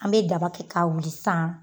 An be daba kɛ wuli sisan